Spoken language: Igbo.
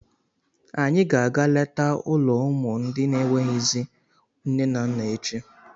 Anyị ga-aga letaa ụlọ ụmụ ndị n'enweghịzị nne na nna echi.